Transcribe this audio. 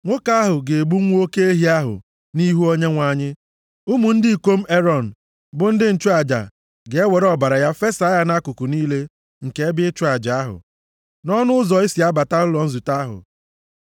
Nwoke ahụ ga-egbu nwa oke ehi ahụ nʼihu Onyenwe anyị. Ụmụ ndị ikom Erọn, bụ ndị nchụaja ga-ewere ọbara ya fesa ya nʼakụkụ niile nke ebe ịchụ aja, nʼọnụ ụzọ e si abata ụlọ nzute ahụ.